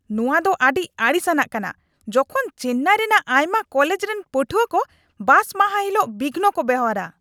ᱱᱚᱣᱟ ᱫᱚ ᱟᱹᱰᱤ ᱟᱹᱲᱤᱥᱟᱱᱟᱜ ᱠᱟᱱᱟ ᱡᱚᱠᱷᱚᱱ ᱪᱮᱱᱱᱟᱭ ᱨᱮᱱᱟᱜ ᱟᱭᱢᱟ ᱠᱚᱞᱮᱡ ᱨᱮᱱ ᱯᱟᱹᱴᱷᱩᱣᱟᱹᱠᱚ ᱵᱟᱥ ᱢᱟᱦᱟ ᱦᱤᱞᱟᱹᱜ ᱵᱤᱜᱷᱚᱱᱠᱚ ᱵᱮᱣᱦᱟᱨᱟ ᱾